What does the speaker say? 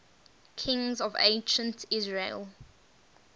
kings of ancient israel